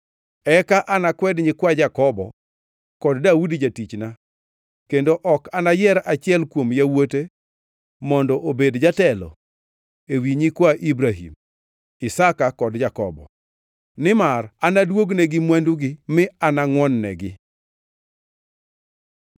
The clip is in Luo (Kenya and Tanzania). eka anakwed nyikwa Jakobo kod Daudi jatichna kendo ok anayier achiel kuom yawuote mondo obed jatelo ewi nyikwa Ibrahim, Isaka kod Jakobo. Nimar anaduognegi mwandugi mi anangʼwon-negi.’ ”